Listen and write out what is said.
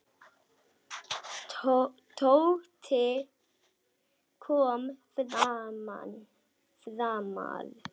Tóti kom framar.